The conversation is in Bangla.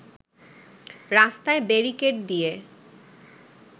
রাস্তায় ব্যারিকেড দিয়ে